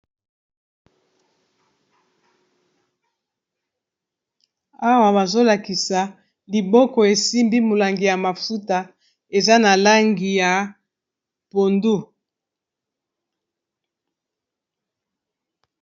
Awa bazolakisa liboko esimbi molangi ya mafuta eza na langi ya pondu.